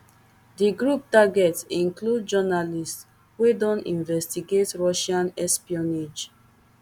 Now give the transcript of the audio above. di group target include journalists wey don investigate russian espionage